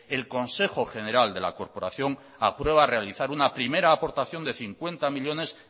el consejo general de la corporación aprueba realizar una primera aportación de cincuenta millónes